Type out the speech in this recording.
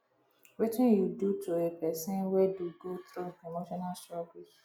wetin you dey do to a pesin wey do go through emotional struggles